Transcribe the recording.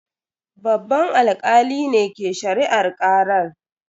Babban alkalin ne ke shari'ar karar.